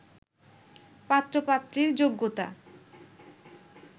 পাত্র-পাত্রীর যোগ্যতা